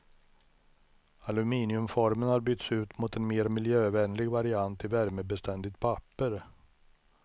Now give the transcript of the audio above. Aluminiumformen har bytts ut mot en mer miljövänlig variant i värmebeständigt papper.